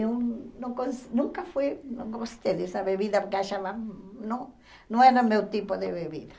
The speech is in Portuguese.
Eu não gos nunca fui nunca gostei dessa bebida, porque achava não não era o meu tipo de bebida.